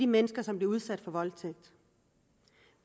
mennesker som bliver udsat for voldtægt